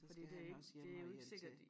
Fordi det ik det jo ikke sikkert